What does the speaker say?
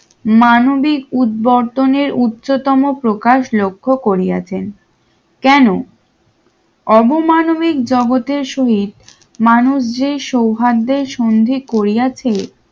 মানবিক উদ্বর্তন এর উচ্চতম প্রকাশ লক্ষ্য করিয়াছেন কেন অবমানবিক জগতের শহীদ মানুষ যে সৌহার্দ্যের সন্ধি করিয়াছে